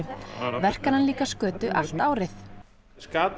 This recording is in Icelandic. verkar hann líka skötu allt árið